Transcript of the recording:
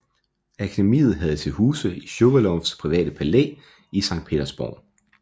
Akademiet havde til huse i Shuvalovs private palæ i Sankt Petersborg